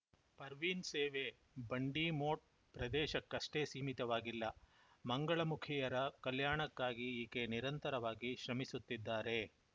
ಪರ್ವಿನ್‌ ಸೇವೆ ಬಂಡಿಮೋಟ್‌ ಪ್ರದೇಶಕ್ಕಷ್ಟೇ ಸೀಮಿತವಾಗಿಲ್ಲ ಮಂಗಳಮುಖಿಯರ ಕಲ್ಯಾಣಕ್ಕಾಗಿ ಈಕೆ ನಿರಂತರವಾಗಿ ಶ್ರಮಿಸುತ್ತಿದ್ದಾರೆ